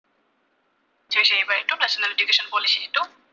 national education policy টো